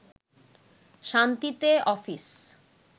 শান্তিতে অফিস